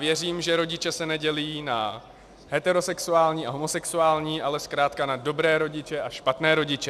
Věřím, že rodiče se nedělí na heterosexuální a homosexuální, ale zkrátka na dobré rodiče a špatné rodiče.